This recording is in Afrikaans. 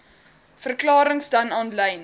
verklarings dan aanlyn